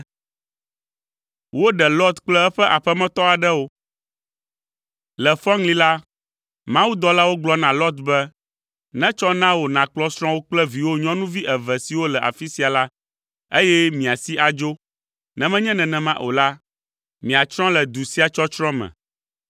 Le fɔŋli la, mawudɔlawo gblɔ na Lot be, “Netsɔ na wò, nàkplɔ srɔ̃wò kple viwò nyɔnuvi eve siwo le afi sia la, eye miasi adzo, ne menye nenema o la, miatsrɔ̃ le du sia tsɔtsrɔ̃ me.”